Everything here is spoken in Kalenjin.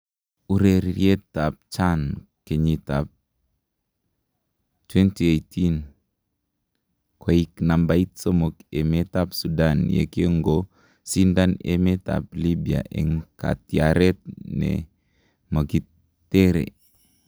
Ureriet ab CHAN kenyit ab 20218: Koik nambait somok emet ab Sudan yekongo sindan emet ab Libya en katyaret nemogitere.